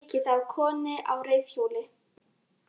Ekið á konu á reiðhjóli